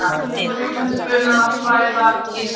Hann horfir á rjúkandi bununa bræða íshelluna.